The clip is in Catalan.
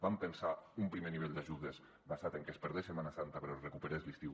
vam pensar un primer nivell d’ajudes basat en que es perdés setmana santa però es recuperés l’estiu